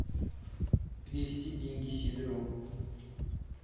перевести деньги сидорову